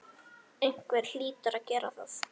Einhver hlýtur að gera það.